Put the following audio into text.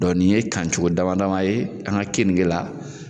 Dɔ nin ye kancogo damadama ye an ka keninge la.